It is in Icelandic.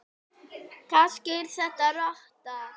Kannski er þetta rotta?